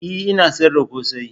E! Ina sayar da kose.